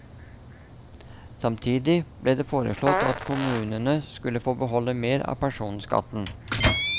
Samtidig ble det foreslått at kommunene skulle få beholde mer av personskatten.